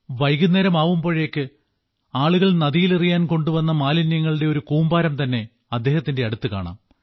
വൈകുന്നേരമാവുമ്പോഴേക്ക് ആളുകൾ നദിയിലെറിയാൻ കൊണ്ടുവന്ന മാലിന്യങ്ങളുടെ കൂമ്പാരം തന്നെ അദ്ദേഹത്തിന്റെ അടുത്ത് കാണാം